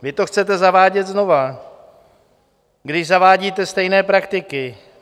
Vy to chcete zavádět znovu, když zavádíte stejné praktiky.